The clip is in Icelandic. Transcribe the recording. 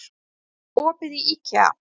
Himri, er opið í IKEA?